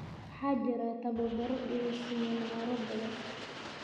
waxaa jira tababaro iyo siminaaro badan